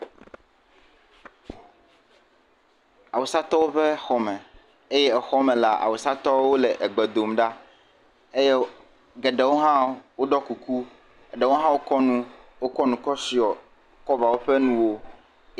Awusatɔwo ƒe xɔme eye exɔ me la awusatɔwo egbe dom ɖa eye geɖewo hã woɖɔ kuku. Eɖewo hã wokɔ nu wo kɔ nu kɔ tsɔ kɔva woƒe nuwo.